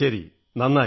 ശരി നന്നായി